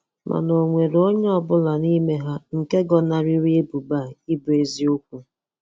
Mana o nwere onye ọ bụla n'ime ha nke gọnariri ebubo a ịbụ eziokwu.